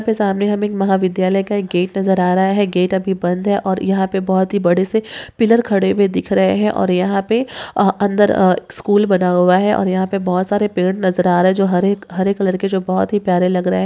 इसके सामने हमें एक महा विद्यालय का एक गेट नजर आ रहा है गेट अभी बंद है और यहाँ पर बहुत बड़े से पिलर खड़े हुए दिख रहे है और यहाँ पे अ अन्दर स्कूल बना हुआ है और यहाँ पर बहुत सारे पेड़ नजर आ रहे है जो हरे हरे कलर के बहुत ही प्यारे लग रहे है।